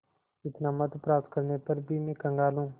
इतना महत्व प्राप्त करने पर भी मैं कंगाल हूँ